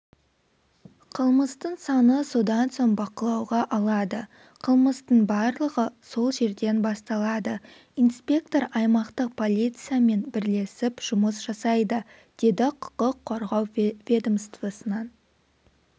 қылмыстың саны содан соң бақылауға алады қылмыстың барлығы сол жерден басталады инспектор аймақтық полициямен бірлесіп жұмыс жасайды деді құқық қорғау ведомствосының